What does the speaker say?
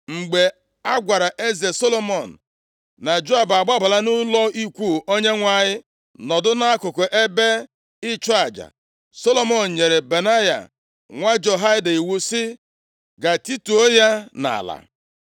Mgbe a gwara eze Solomọn, na Joab a gbabala nʼụlọ ikwu Onyenwe anyị, nọdụ nʼakụkụ ebe ịchụ aja. Solomọn nyere Benaya, nwa Jehoiada iwu sị, “Gaa, tituo ya nʼala.”